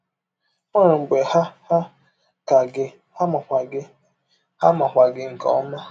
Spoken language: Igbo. Ọ nwere mgbe ha hà ka gị, ha makwa gị ha makwa gị nke ọma.